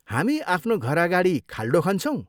हामी आफ्नो घर अगाडि खाल्डो खन्छौँ।